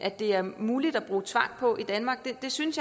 at det er muligt at bruge tvang på i danmark jeg synes